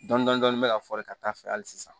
Dɔndɔni dɔni bɛ ka fɔri ka taa fɛ hali sisan